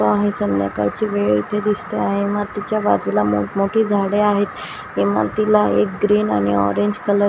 आहे संध्याकाळची वेळ इथे दिसते आहे इमातीच्या बाजूला मोठमोठी झाडे आहेत इमातीला एक ग्रीन आणि ऑरेंज कलर --